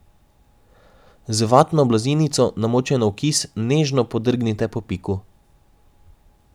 Z vatno blazinico, namočeno v kis, nežno podrgnite po piku.